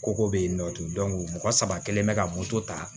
Koko bɛ yen nɔ ten mɔgɔ saba kelen bɛ ka moto ta